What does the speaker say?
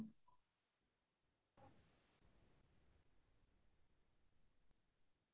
সেই সময়খিনি ঘৰতে বহি বহি মানে কি কৰিম কি নকৰিম